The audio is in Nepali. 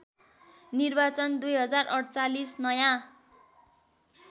निर्वाचन २०४८ नयाँ